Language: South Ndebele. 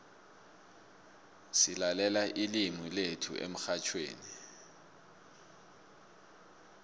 silalela ilimu lethu emxhatjhweni